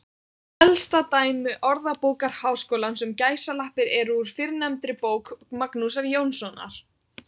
Elsta dæmi Orðabókar Háskólans um gæsalappir er úr fyrrnefndri bók Magnúsar Jónssonar.